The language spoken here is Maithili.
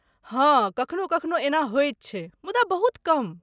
हाँ, कखनो कखनो एना होइत छै, मुदा बहुत कम।